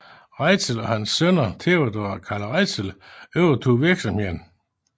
Reitzel og hans sønner Theodor og Carl Reitzel overtog virksomheden